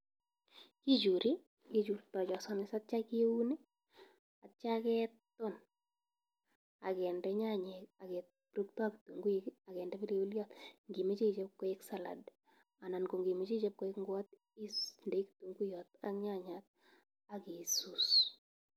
Kichuri, kichurto cho samis atio kiun, atio keton, agende nyanyek agepurukto kitunguik, agende pilipiliot ngimache ichop koek salad. Anan ngot imache ichop koek ngwot, is indei kitunguiyot ak nyanyat ak isus.